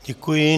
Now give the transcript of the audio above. Děkuji.